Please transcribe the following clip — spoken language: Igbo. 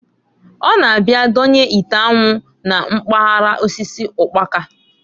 Ọ na-abia donye ite anwụ na mpagala osisi ụkpaka.